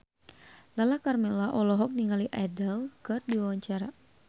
Lala Karmela olohok ningali Adele keur diwawancara